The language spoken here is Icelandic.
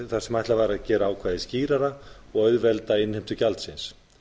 þar sem ætlað var að gera ákvæðið skýrara og auðvelda innheimtu gjaldsins